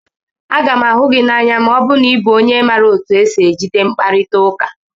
Aga m ahụ gị n'anya ma ọ bụrụ na ị bụ onye otu esi ejide mkparita ụka.